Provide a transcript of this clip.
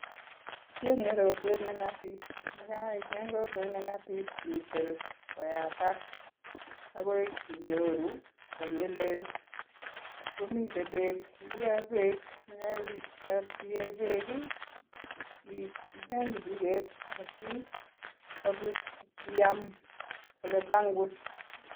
Icheng'e rotwet neng'atip. Yekaicheng rotwet neng'atip, itil koyatak akoi inyoru ole leel komite beek yekaitar iyee beek, icheng kichiket asikobit iyam oletangus.